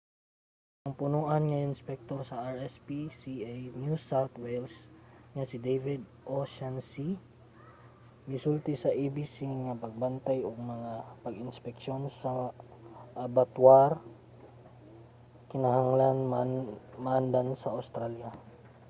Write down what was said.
ang punoan nga inspektor sa rspca new south wales nga si david o'shannessy misulti sa abc nga ang pagbantay ug mga pag-inspeksyon sa mga abattoir kinahanglan maandan sa australia